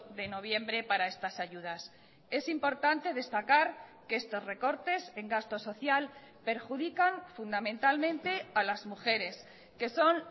de noviembre para estas ayudas es importante destacar que estos recortes en gasto social perjudican fundamentalmente a las mujeres que son